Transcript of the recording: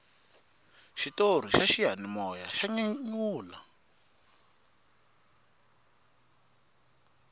xitori xa xiyanimoya xa nyanyula